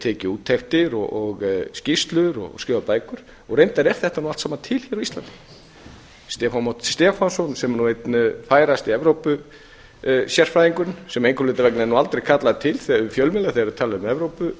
tekið úttektir og skýrslur og skrifað bækur og reyndar er þetta allt saman til hér á íslandi stefán már stefánsson sem er nú einn færasti evrópusérfræðingurinn sem einhverra hluta vegna er aldrei kallaður til við fjölmiðla þegar við tölum